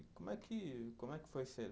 Como é que, como é que foi ser